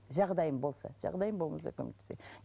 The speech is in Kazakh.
жағдайым болса жағдайым болмаса көмектеспеймін